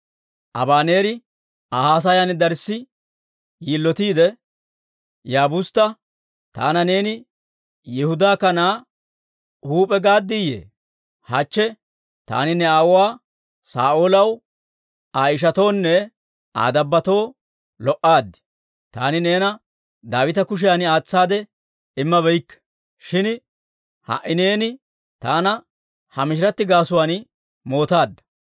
Abaneeri Aa haasayan darssi yilotiide Yaabustta, «Taana neeni Yihudaa kanaa huup'e gaaddiyye? Hachche taani ne aawuwaa Saa'oolaw, Aa ishatoonne Aa dabbotoo lo"aad; taani neena Daawita kushiyan aatsaade immabeykke. Shin ha"i neeni taana ha mishiratti gaasuwaan mootaadda!